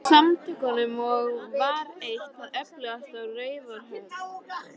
Samtökunum og var eitt það öflugasta á Raufarhöfn.